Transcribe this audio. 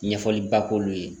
Ɲɛfɔliba k'olu ye